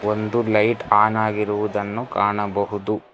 ಒಂದು light on ಆಗಿರುವುದನ್ನು ಕಾಣಬಹುದು.